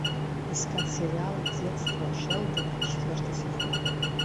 искать сериал детство шелдона четвертый сезон